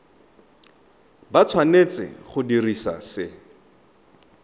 ba tshwanetse go dira se